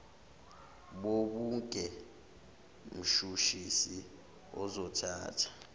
bobuge mshushisi uzothatha